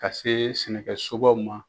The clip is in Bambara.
Ka se sɛnɛkɛsobaw ma.